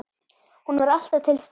Hún var alltaf til staðar.